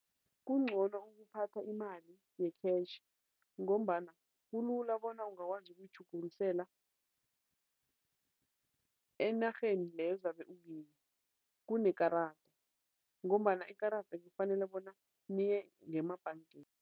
Kungcono ukuphatha imali ye-cash ngombana kulula bona ungakwazi ukulitjhugukisela enarheni leyo ozabe ukuyi, kunekarada ngombana ikarada kufanele bona niye ngemabhangeni.